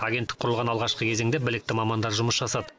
агенттік құрылған алғашқы кезеңде білікті мамандар жұмыс жасады